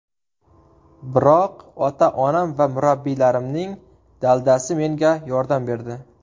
Biroq ota-onam va murabbiylarimning daldasi menga yordam berdi.